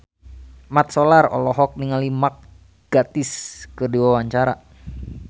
Mat Solar olohok ningali Mark Gatiss keur diwawancara